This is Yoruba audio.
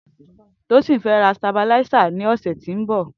Tosin fệ rà stábìláisá ni ọ̀sẹ̀ tó n bọ